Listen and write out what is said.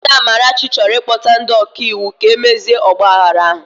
Nwada Amarachi chọrọ ịkpọta ndi ọka iwu ka mezie ọgbaaghara ahụ